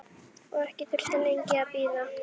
Og ekki þurfti lengi að bíða.